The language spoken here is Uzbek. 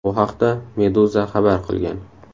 Bu haqda Meduza xabar qilgan .